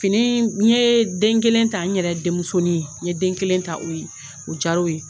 Fini, n ye den kelen ta n yɛrɛ denmusonin, n ye den kelen ta o ye, o diyara o ye.